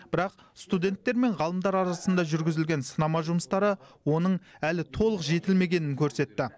бірақ студенттер мен ғалымдар арасында жүргізілген сынама жұмыстары оның әлі толық жетілмегенін көрсетті